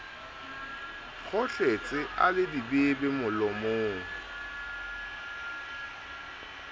kgohletse a le dibebe molomong